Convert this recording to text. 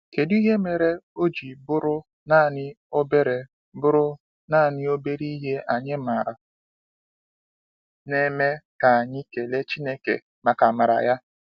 kedụ ihe mere oji bụrụ naanị obere bụrụ naanị obere ihe anyị maara na-eme ka anyị kelee Chineke maka amara ya.